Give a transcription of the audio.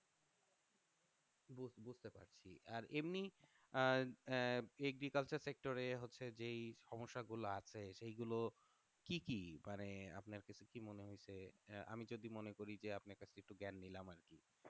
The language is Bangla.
আর এমনি আহ আহ agriculture sector এ হচ্ছে যেই সমস্যাগুলো আছে সেই গুলো কি কি মানে আপনার কাছে কি মনে হয়েছে আহ আমি যদি মনে করি যে আপনার কাছ থেকে একটু জ্ঞান নিলাম আর কি